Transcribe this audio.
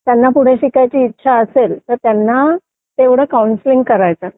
त्यांना पुढे शिकायची इच्छा असेल तर त्यांना तेवढं कौन्सिलिंग करायचं